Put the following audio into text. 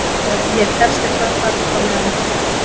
Ef ég tefst eitthvað farðu þá með hann upp á hótel!